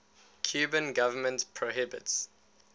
cuban government prohibits